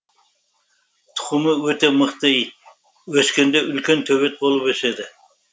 тұқымы өте мықты ит өскенде үлкен төбет болып өседі